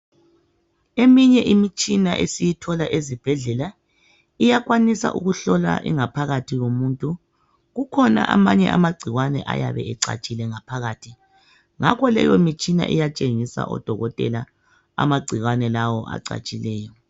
Eminye imitshina esiyithola ezibhedlela iyakwanisa ukuhlola ingaphakathi kwomuntu kukhona abanye amacikwane ayabe ecatshile ngaphakathi ngakho leyi mitshina iyatshengisa odokotela amacikwane lawo acatshileyo